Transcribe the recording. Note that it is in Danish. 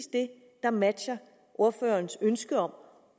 det der matcher ordførerens ønske om